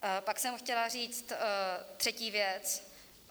Pak jsem chtěla říct třetí věc.